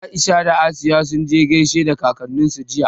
Aisha da Asiya sun je sun gaishe da kakanninsu jiya.